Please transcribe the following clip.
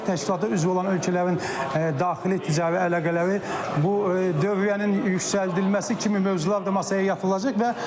təşkilata üzv olan ölkələrin daxili ticari əlaqələri bu dövriyyənin yüksəldilməsi kimi mövzular da masaya yatırılacaq.